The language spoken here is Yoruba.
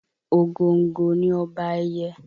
Ògòǹgò ni ọba ẹyẹ